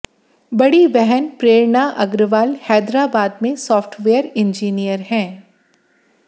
बड़ी बहन प्रेरणा अग्रवाल हैदराबाद में सॉफ्टवेयर इंजीनियर है